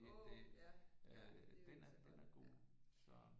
Åh ja ja det er jo ikke så godt ja